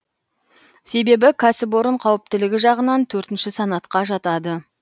себебі кәсіпорын қауіптілігі жағынан төртінші санатқа жатады